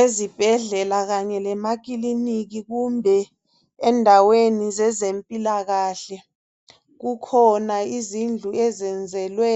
Ezibhedlela kanye lemakiliniki kumbe endaweni zezempilakahle kukhona izindlu ezenzelwe